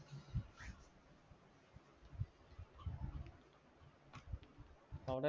അവിടെ